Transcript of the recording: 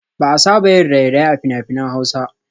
Ba a saba yin raye-raye a fina-finan hausa